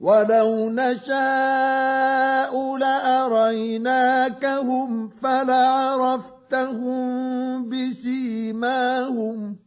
وَلَوْ نَشَاءُ لَأَرَيْنَاكَهُمْ فَلَعَرَفْتَهُم بِسِيمَاهُمْ ۚ